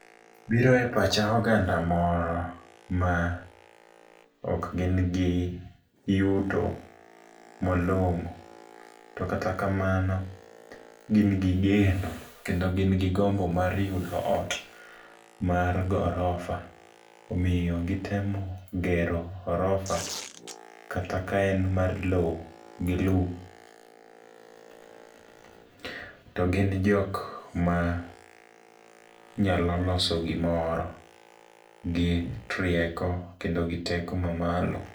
Biro e pacha oganda moro ma ok gin gi yuto malong'o, to kata kamano gin gi geno kendo gin gi gombo mar yudo ot mar gorofa. Omiyo gitemo gero gorofa, kata ka en mar lo gi lum. To gin jok ma nyalo loso gimoro gi trieko kendo gi teko ma malo.